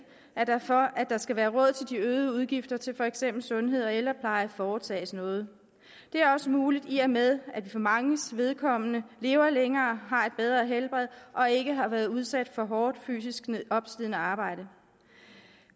at der for at der skal være råd til de øgede udgifter til for eksempel sundhed og ældrepleje foretages noget det er også muligt i og med at man for manges vedkommende lever længere har et bedre helbred og ikke har været udsat for hårdt fysisk opslidende arbejde